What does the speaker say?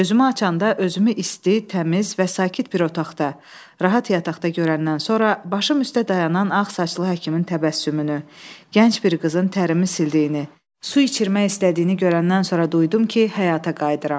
Gözümü açanda özümü isti, təmiz və sakit bir otaqda, rahat yataqda görəndən sonra başım üstə dayanan ağ saçlı həkimin təbəssümünü, gənc bir qızın tərimi sildiyini, su içirmək istədiyini görəndən sonra duydum ki, həyata qayıdıram.